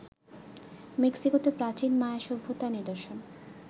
মেক্সিকোতে প্রাচীন মায়া সভ্যতার নিদর্শন